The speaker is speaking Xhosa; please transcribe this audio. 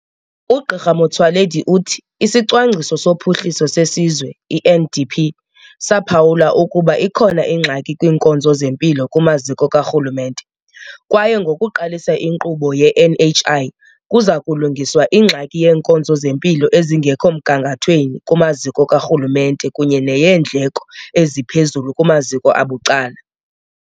UGq Motsoaledi uthi iSicwangciso soPhuhliso seSizwe, i-NDP, saphawula ukuba ikhona ingxaki kwiinkonzo zempilo kumaziko karhulumente, kwaye ngokuqalisa inkqubo ye-NHI kuza kulungiswa ingxaki yeenkonzo zempilo ezingekho mgangathweni kumaziko karhulumente kunye neyeendleko eziphezulu kumaziko abucala.